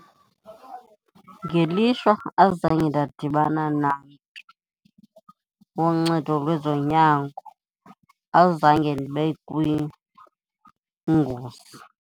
Ngelishwa azange ndadibana namntu woncedo lwezonyango, azange ndibe kwingozi.